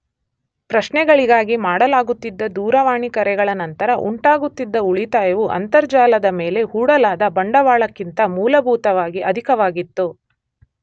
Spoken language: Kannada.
ಪ್ರಶ್ನೆಗಳಿಗಾಗಿ ಮಾಡಲಾಗುತ್ತಿದ್ದ ದೂರವಾಣಿ ಕರೆಗಳ ನಂತರ ಉಂಟಾಗುತ್ತಿದ್ದ ಉಳಿತಾಯವು ಅಂತರ್ಜಾಲದ ಮೇಲೆ ಹೂಡಲಾದ ಬಂಡವಾಳಕ್ಕಿಂತ ಮೂಲಭೂತವಾಗಿ ಅಧಿಕವಾಗಿತ್ತು.